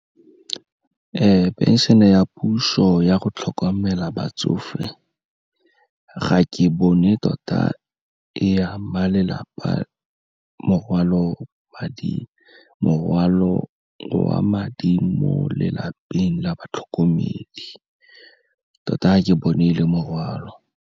Phenšene ya puso ya go tlhokomela batsofe, ga ke bone tota e ama lelapa morwalo wa madi mo lelapeng la batlhokomedi, tota ga ke bone e le morwalo.